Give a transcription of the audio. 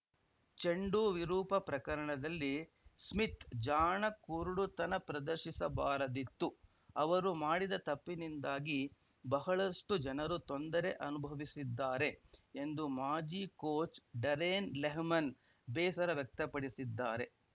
ಚೆಂಡು ವಿರೂಪ ಪ್ರಕರಣದಲ್ಲಿ ಸ್ಮಿತ್‌ ಜಾಣ ಕುರುಡುತನ ಪ್ರದರ್ಶಿಸಬಾರದಿತ್ತು ಅವರು ಮಾಡಿದ ತಪ್ಪಿನಿಂದಾಗಿ ಬಹಳಷ್ಟುಜನರು ತೊಂದರೆ ಅನುಭವಿಸಿದ್ದಾರೆ ಎಂದು ಮಾಜಿ ಕೋಚ್‌ ಡರೆನ್‌ ಲೆಹ್ಮನ್‌ ಬೇಸರ ವ್ಯಕ್ತಪಡಿಸಿದ್ದಾರೆ